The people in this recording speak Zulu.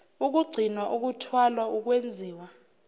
ukugcinwa ukuthwalwa ukwenziwa